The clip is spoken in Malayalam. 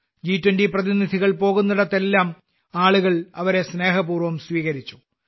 ജി20 പ്രതിനിധികൾ പോകുന്നിടത്തെല്ലാം ആളുകൾ അവരെ സ്നേഹപൂർവ്വം സ്വീകരിച്ചു